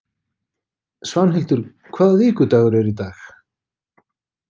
Svanhildur, hvaða vikudagur er í dag?